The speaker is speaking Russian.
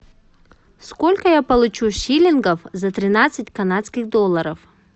сколько я получу шиллингов за тринадцать канадских долларов